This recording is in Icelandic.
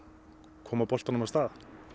koma boltanum af stað